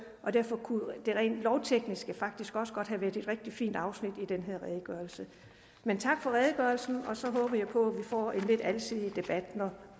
og derfor kunne det rent lovtekniske faktisk også godt have været et rigtig fint afsnit i den her redegørelse men tak for redegørelsen og så håber jeg på at vi får en lidt alsidig debat når